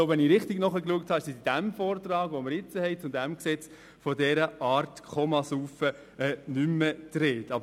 Wenn ich richtig gelesen habe, ist im Vortrag zu diesem Gesetz von dieser Art des Komasaufens nicht mehr die Rede.